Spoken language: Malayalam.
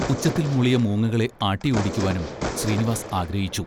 ഉച്ചത്തിൽ മൂളിയ മൂങ്ങകളെ ആട്ടിയോടിക്കുവാനും ശ്രീനിവാസ് ആഗ്രഹിച്ചു.